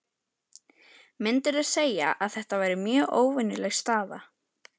Myndirðu segja að þetta væri mjög óvenjuleg staða?